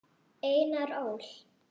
Einar Ól.